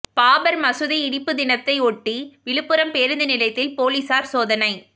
பாபா் மசூதி இடிப்பு தினத்தையொட்டி விழுப்புரம் பேருந்து நிலையத்தில் போலீஸாா் சோதனை